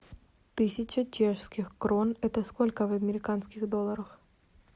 тысяча чешских крон это сколько в американских долларах